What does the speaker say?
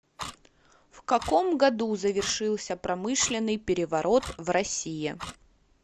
в каком году завершился промышленный переворот в россии